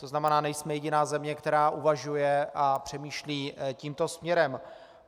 To znamená, nejsme jediná země, která uvažuje a přemýšlí tímto směrem.